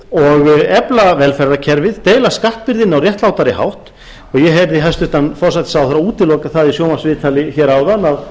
og efla velferðarkerfið deila skattbyrðinni á réttlátan hátt og ég heyrði hæstvirtan forsætisráðherra útiloka það í sjónvarpsviðtali hér áðan að